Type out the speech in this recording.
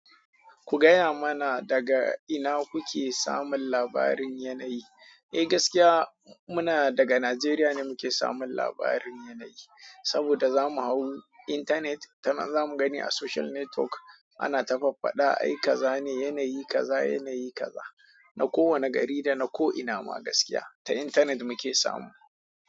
Ku gaya mana daga ina kuke samun labarin yanayi? Eh gaskiya muna daga Najeriya ne muke samun labarin yanayi. Saboda za mu hau internet, ta nan za mu gani a social network ana ta faffada ai kaza ne yanayi kaza yanayi kaza. Na kowane gari da na ko ina ma gaskiya ta internet muke samu.